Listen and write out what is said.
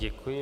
Děkuji.